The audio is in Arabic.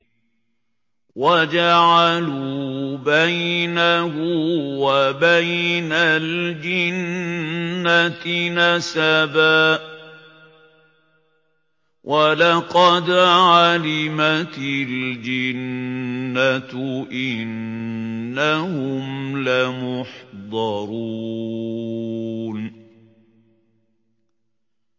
وَجَعَلُوا بَيْنَهُ وَبَيْنَ الْجِنَّةِ نَسَبًا ۚ وَلَقَدْ عَلِمَتِ الْجِنَّةُ إِنَّهُمْ لَمُحْضَرُونَ